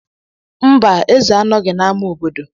Mba eze anọghị n'ámá obodo.